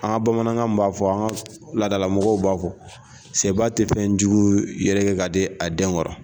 An bamanankan b'a fɔ an ka ladala mɔgɔw b'a fɔ sɛba tɛ fɛnjugu yɛrɛgɛ ka di a den kɔrɔ.